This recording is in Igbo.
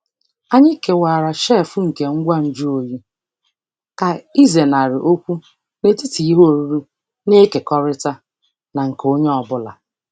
Anyị kewara shelf nke ngwa nju oyi ka ịzenarị okwu n'etiti ihe oriri na-ekekọrịta na nke onye ọ bụla.